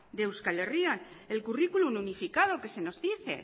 de euskal herria el currículum unificado que se nos dice